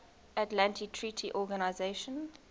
atlantic treaty organisation